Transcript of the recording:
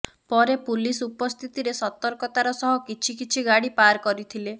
ପରେ ପୁଲିସ ଉପସ୍ଥିତିରେ ସତର୍କତାର ସହ କିଛି କିଛି ଗାଡି ପାର କରିଥିଲେ